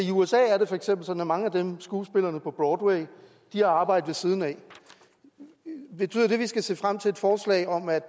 i usa er det for eksempel sådan at mange af skuespillerne på broadway har arbejde ved siden af betyder det at vi skal se frem til et forslag om at